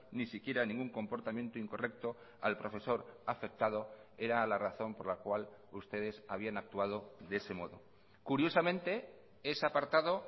ni siquiera ningún comportamiento incorrecto al profesor afectado era la razón por la cual ustedes habían actuado de ese modo curiosamente es apartado